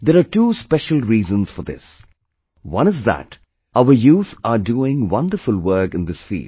There are two special reasons for this one is that our youth are doing wonderful work in this field